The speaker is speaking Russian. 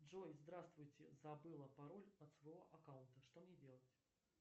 джой здравствуйте забыла пароль от своего аккаунта что мне делать